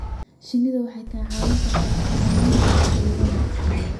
Shinnidu waxay kaa caawin kartaa xakamaynta cudurrada.